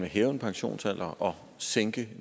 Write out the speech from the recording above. hæve pensionsalderen og sænke